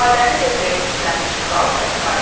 İfadəni ver deyə mürgülənmiş kral təkrar etdi.